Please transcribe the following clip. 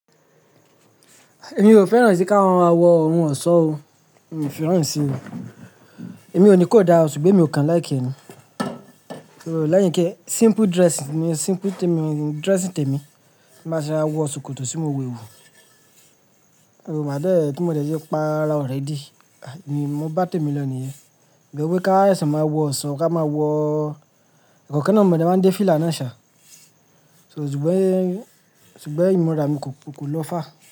Èmi ò fẹ́ràn sí ká wọn á wọ oun ọ̀ṣọ́ ó, mi ò fẹ́ràn rí sí i o. Èmi ò ní kó dára ṣùgbọ́n èmi ò kan like ẹ ni. Lẹ́yìn kẹ, simple dressing simple dress tí èmi má ṣe máa wọ ṣòkòtò tí mo wẹwu. Ó maa dẹẹ tí mo dẹ ti páa rà already. Èmi mo bá tèmi lọ nìyẹn. Ìgbà wí ká ẹsẹ máa wọ ọ̀ṣọ́ ká máa wọ, ẹ̀kan kan náà mo dẹ máa ń dé fílà náà ṣà. So ṣùgbọ́n, ṣùgbọ́n ìmurà mi kò, kò lọ far.